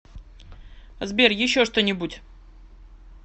сбер еще что нибудь